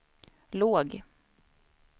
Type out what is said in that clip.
låg